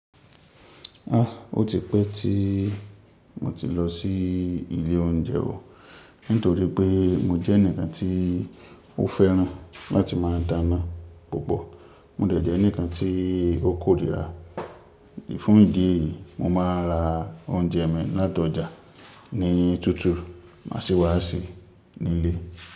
Ha! O ti pẹ́ tí mo ti lọ sí ilé oúnjẹ o, nítorí pé mo jẹ́ ǹkan tí ó fẹ́ràn láti máa dáná púpọ̀. Mo dẹ̀ jẹ́ eǹikan tí ó kórìíra. Fún ìdí èyí, mo máa ń ra oúnjẹ mi látọjà níyìí tútù má sì wá sè nílé.